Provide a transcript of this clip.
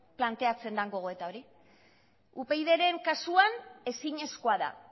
planteatzen dan gogoeta hori upydren kasuan ezinezkoa da